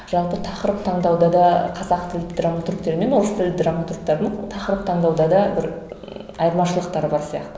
жалпы тақырып таңдауда да қазақ тілді драматургтермен орыс тілді драматургтердің тақырып таңдауда да бір ы айырмашылықтары бар сияқты